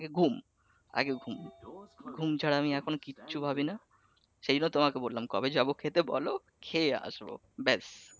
ঘুম আগে ঘুম, ঘুম ছাড়া আমি এখন কিচ্ছু ভাবিনা, সেইটা তোমাকে বললাম কবে যাব খেতে বল, খেয়ে আসবো